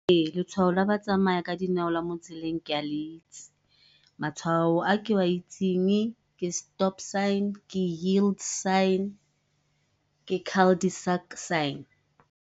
letshwao la batsamaya ka dinao la mo tseleng ke a le itse. Matshwao a ke a itsing ke stop sign, ke yield sign, ke sign.